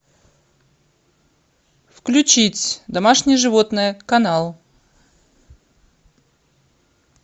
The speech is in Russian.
включить домашние животные канал